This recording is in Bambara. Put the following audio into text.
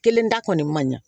Kelen da kɔni man ɲa